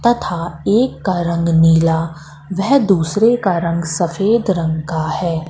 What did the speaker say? तथा एक का रंग नीला वह दूसरे का रंग सफेद रंग का है।